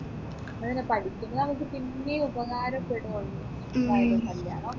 അതെന്നെ പഠിക്കുന്നത് നമ്മുക്ക് പിന്നെയും ഉപകാരപ്പെടും എപ്പോ ആയാലും കല്യാണമൊക്കെ പിന്നെ കഴിക്കാലോ